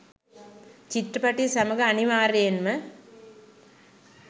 චිත්‍රපටිය සමඟ අනිවාර්යයෙන්ම